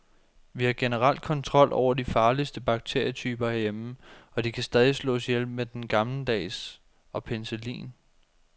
Vi har generelt kontrol over de farligste bakterietyper herhjemme, og de kan stadig slås ihjel med den gammeldags og penicillin.